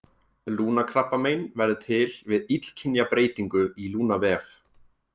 Lungnakrabbamein verður til við illkynja breytingu í lungnavef.